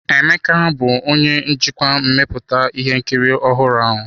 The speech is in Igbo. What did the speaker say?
Emeka bụ onye njikwa mmepụta ihe nkiri ọhụrụ a.